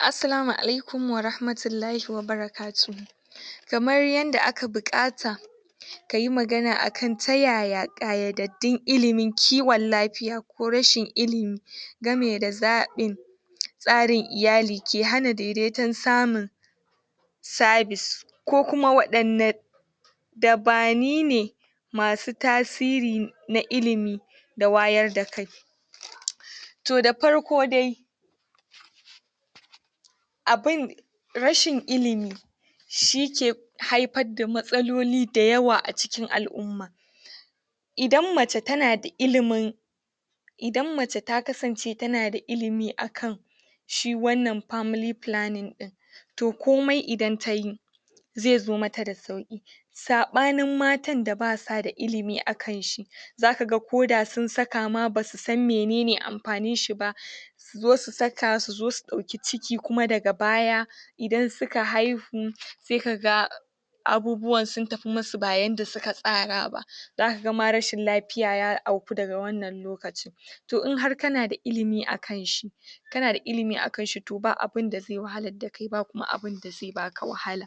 Assalamu alaikum warahmatullahi wabarakatuhu kamar yanda aka buƙata kayi magana akan ta yaya ƙayadaddun ilimin kiwon lafiya ko rashin ilimi game da zaɓin tsarin iyali ke hana dedeton samun service, ko kuma waɗanne dabani ne masu tasiri na ilimi da wayar da kai, to da farko dai abin rashin ilimi shike haifadda matsaloli da yawa a cikin al'umma, idan mace tana da ilimin idan mace ta kasance tana da ilimi akan shi wannan family planning ɗin, to komai idan tayi ze zo mata da sauƙi, saɓanin matan da basa da ilimi akan shi zaka ga koda sun saka ma basu san menene amfanin shi ba, su zo su saka su zo su ɗauki ciki kuma daga baya idan suka haihu se kaga abubuwan sun tafi masu ba yanda suka tsara ba zaka ga ma rashin lafiya ya auku daga wannan lokacin, to in har kanada ilimi akan shi kana da ilimi akan shi to ba abunda ze wahalar da kai ba abinda ze baka wahala,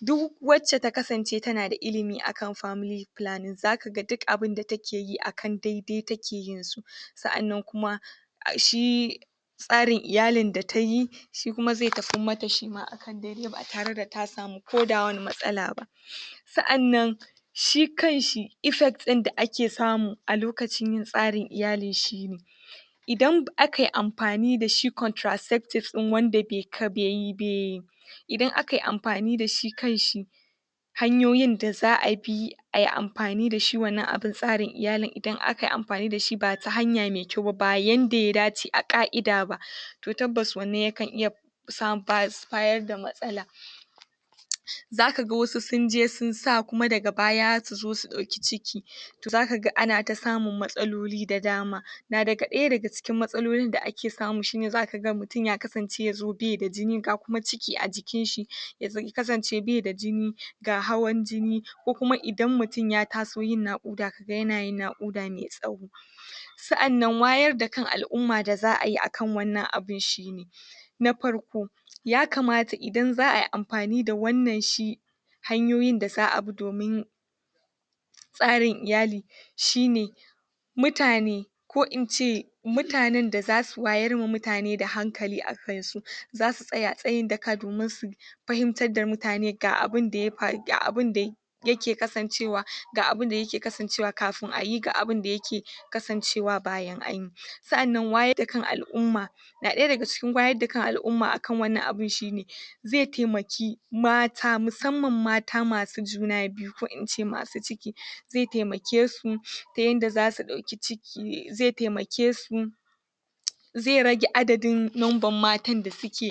duwwace ta kasance tana da ilimi akan family planning zaka ga dik abinda take yi akan daidai take yin su, sa'annan kuma a shi tsarin iyalin da tayi shi kuma ze tafammata shima akan daidai ba tare da ta samu koda wani matsala ba, sa'annan shi kan shi effects ɗin da ake samu a lokacin yin tsarin iyalin shine idan akai amfani da shi contraceptives ɗin wanda be kai beyi be idan akai amfani da shi kanshi hanyoyin da za'a bi ai amfani da shi wannan abun tsarin iyalin idan akai amfani da shi ba ta hanya me kyau ba ba yanda ya dace a ƙa'ida ba to tabbas wannan yakan iya sam bayas bayar da matsala, zaka ga wasu sun je sun sa kuma daga baya su zo su ɗauki ciki to zaka ga ana ta samun matsaloli da dama, na daga ɗaya daga cikin matsalolin da ake samu shine zaka ga mutum yakasance ya zo beda jini ga kuma ciki a jikinshi yaz ya kasance beda jini ga hawan jini ko kuma idan mutin ya taso yin naƙuda yanayin naƙuda me tsawo, sa'annan wayar da kan al'umma da za'ayi akan wannan abun shine: Na farko: Yakamata idan za'ai amfani da wannan shi hanyoyin da za'a bi domin tsarin iyali shine: Mutane ko in ce mutanen da zasu wayar ma mutane da hankali akansu za su tsaya tsayin daka domin su fahimtar da mutane ga abinda ya fa ga abun dai yake kasancewa ga abunda yake kasancewa kafin ayi ga abunda yake kasancewa bayan anyi, sa'annan wayadda kan al'umma na ɗaya daga cikin wayadda kan al'umma akan wannan abun shine: Ze temaki mata musamman mata masu juna biyu ko in ce masu ciki ze temake su ta yanda zasu ɗauki ciki z temake su ze rage adadin nomban matan da suke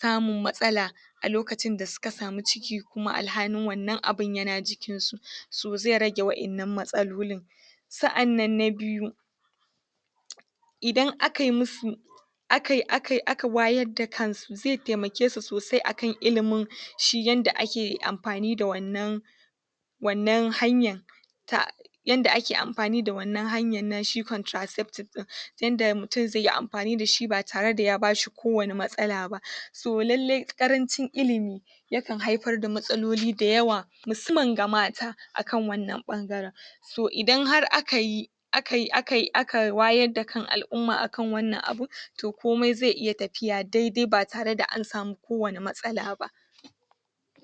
samun matsala a lokacin da suka samu ciki kuma alhanin wannan abun yana jikinsu, so ze rage wannan matsalolin. Sa'annan na biyu: Idan akai musu akai akai aka wayadda kansu ze temake su sosai akan ilimin shi yanda ak amfani da wannan wannan hanyan ta yanda ake amfani da wannan hanyan na shi contraceptive ɗin yanda mutum zeyi amfani da shi ba tare da ya ba shi kowane matsala ba, to lalle ƙarancin ilimi yakan haifar da matsaloli da yawa musaman ga mata akan wannan ɓangaren so idan har aka yi akai akai aka wayarda kan al'umma akan wannan abun to komai ze iya tafiya daidai ba tare da an samu kowane matsala ba.